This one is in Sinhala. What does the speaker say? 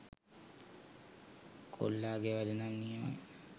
කොල්ලා ගෙ වැඩ නම් නියමයි.